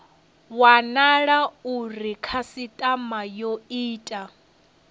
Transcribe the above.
wanala uri khasitama yo ita